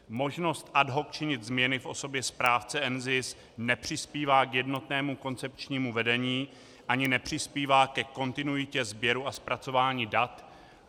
Možnost ad hoc činit změny v osobě správce NZIS nepřispívá k jednotnému koncepčnímu vedení ani nepřispívá ke kontinuitě sběru a zpracování dat.